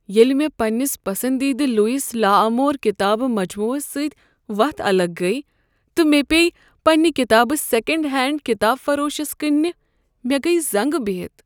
ییٚلہ مےٚ پنٛنس پسندیدٕ لوئس لا آمور کتابہٕ مجموعس سۭتۍ وتھ الگ گٔیہ تہ مےٚ پیٚیہ پننہ کتابہٕ سیکنٛڈ ہینڈ کتاب فروشس کٕننہ، مےٚ گیہ زنگہ بہِتھ ۔